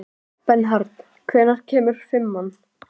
Bernharð, hvenær kemur fimman?